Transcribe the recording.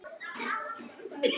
Allt annað er til staðar.